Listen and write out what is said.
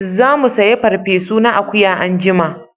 Za mu saya farfe su na akuya anjima